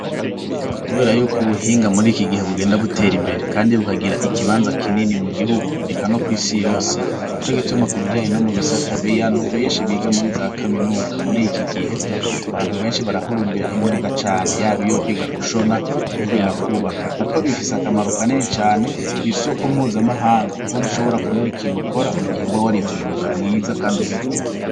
Kubera yuko ubuhinga muri iki gihe bugenda butera imbere kandi bukagira ikibanza kinini mu gihugu eka no kw'isi yose, nico gituma ku bijanye no mu bisata biyantu benshi biga muri za kaminuza muri iki gihe abantu benshi barahurumbira imyuga cane yaba iyo kwiga gushona canke kwiga kubaka kuko bifise akamaro kanini cane kw'isoko mpuzamahanga kuko ntushobora kubura ikintu ukora mu gihe uba warize umwuga mwiza kandi ugezweho.